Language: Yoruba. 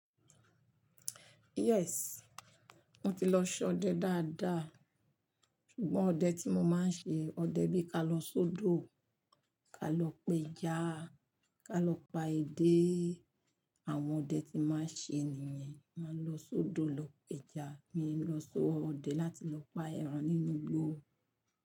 Yes, mo ti lọ sọ ọdẹ dáadáa. Ṣùgbọ́n ọdẹ tí mo máa ń ṣe, ọdẹ bí ka lọ sódò, ka lọ pe ẹja, ka lọ pa edé. Àwọn ọdẹ tí máa ń ṣe nìyẹn. Máa lọ sódò lọ pe ẹja, mi lọ so ọdẹ láti lọ pa ẹran nínú igbó.